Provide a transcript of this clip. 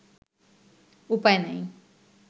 উপায় নাই